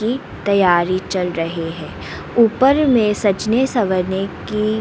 तैयारी चल रही है ऊपर में सजने संवरने की--